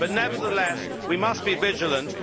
Nevertheless, we must be vigilant.